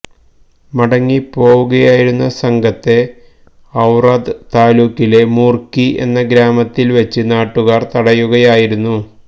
മടങ്ങി പോവുകയായിരുന്ന സംഘത്തെ ഔറാദ് താലൂക്കിലെ മുര്ക്കി എന്ന ഗ്രാമത്തില് വെച്ച് നാട്ടുകാര് തടയുകയായിരുന്നു